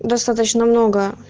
достаточно много